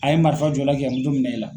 A ye marifa jɔ i la k'i ka minɛ i la.